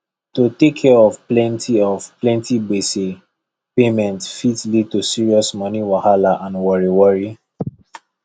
to take care of plenty of plenty gbese payment fit lead to serious money wahalla and worry worry